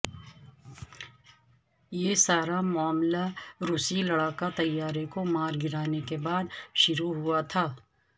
یہ سارا معاملہ روسی لڑاکا طیارے کو مار گرانے کے بعد شروع ہوا تھا